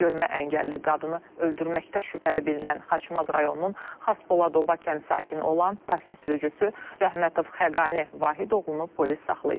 Görmə əngəlli qadını öldürməkdə şübhəli bilinən Xaçmaz rayonunun Xaspoladoba kənd sakini olan taksi sürücüsü Rəhmətov Xəqani Vahidoğlunu polis saxlayıb.